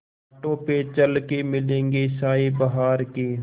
कांटों पे चल के मिलेंगे साये बहार के